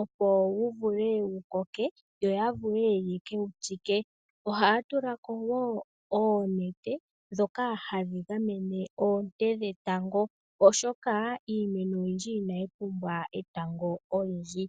opo wuvule wukoke, yo yavule yekewu tsike. Ohaya tulako wo oonete ndhoka hadhi gamene oonte dhetango, oshoka iimeno oyindji inayi pumbwa etango olindji.